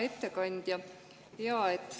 Hea ettekandja!